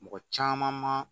Mɔgɔ caman ma